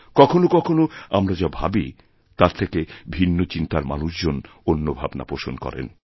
কখনও কখনওআমরা যা ভাবি তার থেকে ভিন্ন চিন্তার মানুষজন অন্য ভাবনা পোষণ করেন